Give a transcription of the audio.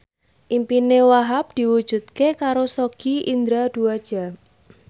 impine Wahhab diwujudke karo Sogi Indra Duaja